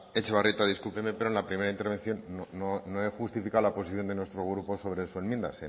etxebarrieta discúlpenme pero en la primera intervención no he justificado la posición de nuestro grupo sobre su enmienda